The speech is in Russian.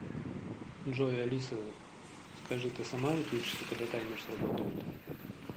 джой алиса скажи ты сама выключишься когда таймер сработает